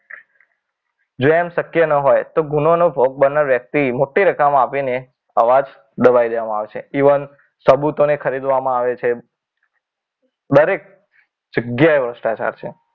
જો એમ શક્ય ન હોય તો ગુનાનો ભોગ બનેલો વ્યક્તિ મોટી રકમ આપીને અવાજ દબાવી દેવામાં આવે છે ઇવન સબૂતોને ખરીદવામાં આવે છે. દરેક જગ્યાએ ભ્રષ્ટાચાર છે.